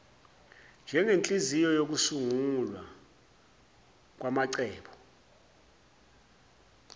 njengenhliziyo yokusungulwa kwamacebo